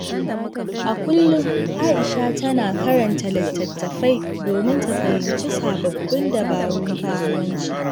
A kullum, Aisha tana karanta littattafai domin ta fahimci sababbin dabarun kasuwanci.